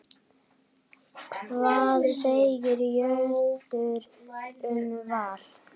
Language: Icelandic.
Hvað segir Jörundur um Val?